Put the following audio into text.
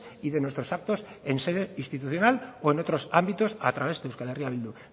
y de nuestros actos en sede institucional o en otros ámbitos a través de euskal herria bildu